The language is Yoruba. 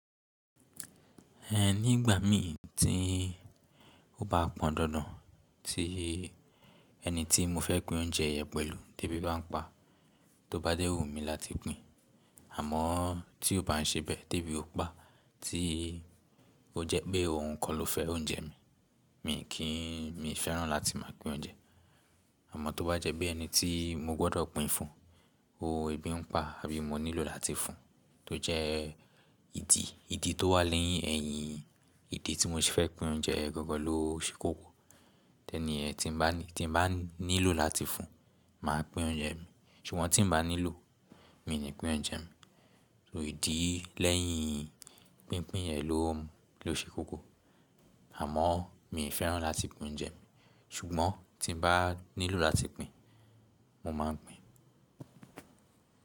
Ẹ nígbà mi tí ó bá pọn dandan tí ẹni tí mo fẹ́ pín oúnjẹ yẹn pẹ̀lú tébi bá ń pa, tó bá dẹ́wù mí láti pín. Àmọ́ tí ó bá ń ṣe bẹ́ẹ̀, tébi ó pa tí ó jẹ́ pé ohun kan lo fẹ́ oúnjẹ mi, mi kì í, mi fẹ́ràn láti máa pín oúnjẹ. Àmọ́ tó bá jẹ́ pé ẹni tí mo gbọ́dọ̀ pín fún, ó ń bí ń pa àbí mo nílò láti fún, tó jẹ́ ìdí, ìdí tó wà lẹ́yìn ẹ̀yin, ìdí tí mo sì fẹ́ pín oúnjẹ gangan lo ṣé kókó. Idi niyẹ́n tí n bá ní, tí n bá nílò láti fún, mà á pín oúnjẹ mi. Ṣùgbọ́n tí n bá nílò, mi ní pín oúnjẹ mi. So ìdí lẹ́yìn pínpín yẹn lo, lo ṣé kókó. Àmọ́ mi fẹ́ràn láti pín oúnjẹ mi, ṣùgbọ́n tí n bá nílò láti pín, mo máa ń pín.